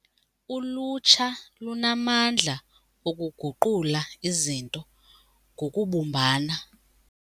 Ulutsha lunamandla okuguqula izinto ngokubumbana.